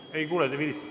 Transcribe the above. Ei kuule, midagi vilistab.